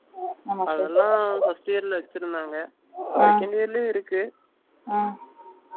அதுலாம் first year ல வச்சிருந்தாங்க second year லயும் இருக்கு.